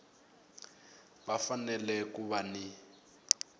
va fanele ku va ni